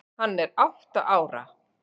Hann er átta ára.